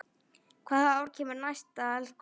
Hvaða ár kemur næst eldgos?